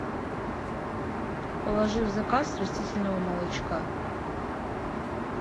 положи в заказ растительного молочка